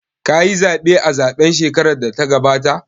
Ka yi zaɓe a zaɓen shekarar da ta gabata?